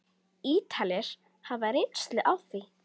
Ítalir hafa reynslu af því.